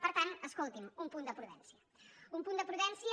per tant escolti’m un punt de prudència un punt de prudència